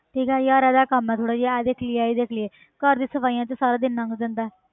ਠੀਕ ਹੈ ਯਾਰ ਇਹਦਾ ਕੰਮ ਆ ਥੋੜ੍ਹਾ ਜਿਹਾ ਇਹ ਦੇਖ ਲਈਏ ਇਹ ਦੇਖ ਲਈਏ ਘਰ ਦੀਆਂ ਸਫ਼ਾਈਆਂ 'ਚ ਸਾਰਾ ਦਿਨ ਲੰਘ ਜਾਂਦਾ ਹੈ